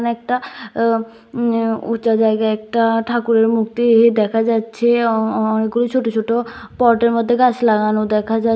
একটা ও উ উচা জায়গায় একটা ঠাকুরের মূর্তি দেখা যাচ্ছে অ-অ-অনেকগুলি ছোট ছোট পটের মধ্যে গাছ লাগানো দেখা যাছ--